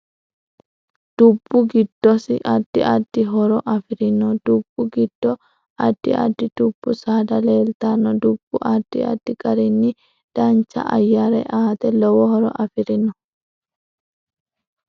Dubbu giddosi addi addi hooro afirinno dubbu giddo addi addi dubbu saada leeltanno dubbu addi addi garinni dancha ayyare aate lowo horo afirino